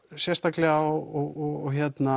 sérstaklega á og